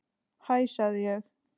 Hæ sagði ég.